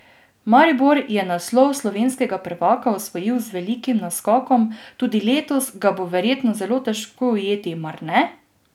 Maribor je naslov slovenskega prvaka osvojil z velikim naskokom, tudi letos ga bo verjetno zelo težko ujeti, mar ne?